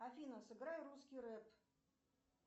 афина сыграй русский рэп